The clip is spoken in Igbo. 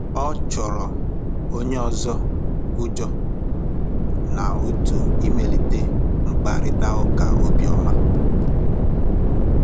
Ọ́ chọ́ọ́rọ́ ónyé ọ́zọ́ ụ́jọ́ n'átụ̀ ị̀màlíté mkpàrị́tà ụ́ká óbíọ́mà.